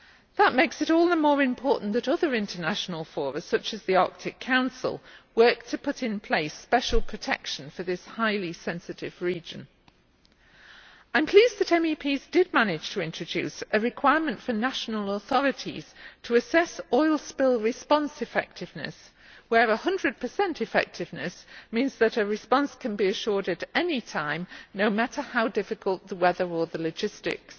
That makes it all the more important that other international forums, such as the Arctic Council, work to put in place special protection for this highly sensitive region. I am pleased that MEPs managed to introduce a requirement for national authorities to assess oil spill response effectiveness, where 100 effectiveness means that a response can be assured at any time, no matter how difficult the weather or the logistics.